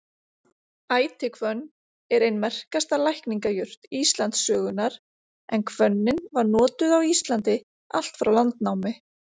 Ætihvönn er ein merkasta lækningajurt Íslandssögunnar en hvönnin var notuð á Íslandi allt frá landnámi.